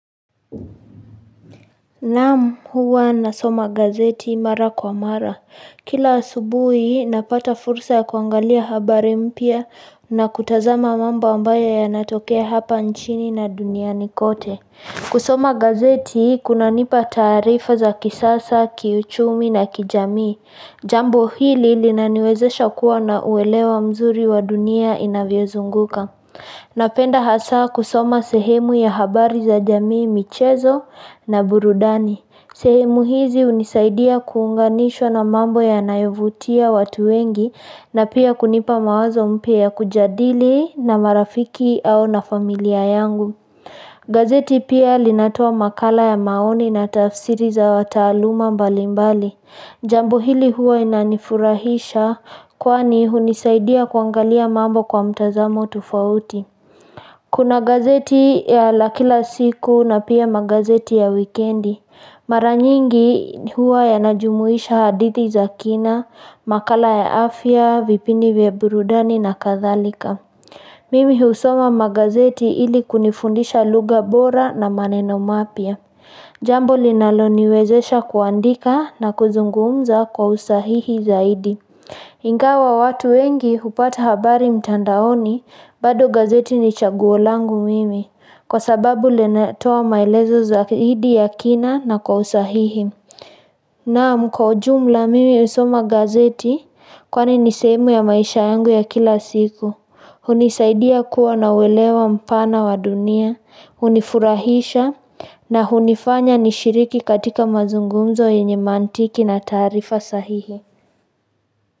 Naam huwa nasoma gazeti mara kwa mara. Kila asubuhi napata fursa ya kuangalia habari mpya na kutazama mambo ambayo yanatokea hapa nchini na duniani kote. Kusoma gazeti kunanipa taarifa za kisasa, kiuchumi na kijamii. Jambo hili linaniwezesha kuwa na uelewa mzuri wa dunia inavyozunguka. Napenda hasa kusoma sehemu ya habari za jamii michezo na burudani. Sehemu hizi hunisaidia kuunganishwa na mambo yanayovutia watu wengi na pia kunipa mawazo mpya ya kujadili na marafiki au na familia yangu. Gazeti pia linatoa makala ya maoni na tafsiri za wataaluma mbalimbali Jambo hili huwa inanifurahisha kwani hunisaidia kuangalia mambo kwa mtazamo tufauti Kuna gazeti ya la kila siku na pia magazeti ya wikendi Mara nyingi huwa yanajumuisha hadithi za kina, makala ya afya, vipindi vya burudani na kadhalika Mimi husoma magazeti ili kunifundisha lugha bora na maneno mapya. Jambo linaloniwezesha kuandika na kuzungumza kwa usahihi zaidi. Ingawa watu wengi hupata habari mtandaoni, bado gazeti ni chaguo langu mimi. Kwa sababu linatoa maelezo zaidi ya kina na kwa usahihi. Naam kwa ujumla mimi husoma gazeti kwani ni sehemu ya maisha yangu ya kila siku. Hunisaidia kuwa uelewa mpana wa dunia, hunifurahisha na hunifanya nishiriki katika mazungumzo yenye mantiki na taarifa sahihi.